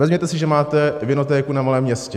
Vezměte si, že máte vinotéku na malém městě.